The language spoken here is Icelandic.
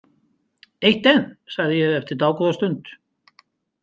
Eitt enn, sagði ég eftir dágóða stund.